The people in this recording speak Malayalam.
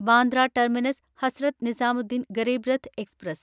Bandra terminus Hazrat Nizamuddin Garib Rath express